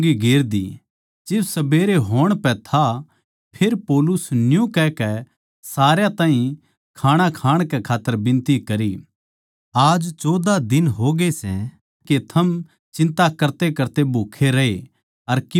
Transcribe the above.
जिब सबेरे होण पै था फेर पौलुस नै न्यू कहकै सारया ताहीं खाणा खाण कै खात्तर विनती करी आज चौदहा दिन होगे सै के थम चिन्ता करतेकरते भूखे रहे अर कीमे न्ही खाया